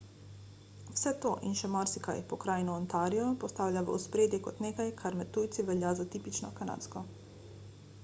vse to in še marsikaj pokrajino ontario postavlja v ospredje kot nekaj kar med tujci velja za tipično kanadsko